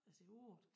At sige 8